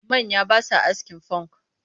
Manya ba sa askin funk